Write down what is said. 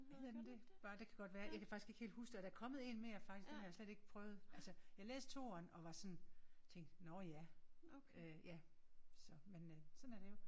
Hedder den det? Bare det kan godt være jeg kan faktisk ikke helt huske det. Og der er der kommet 1 mere faktisk den har jeg faktisk ikke prøvet. Altså jeg læste toeren og var sådan tænkte nåh ja øh ja så men øh sådan er det jo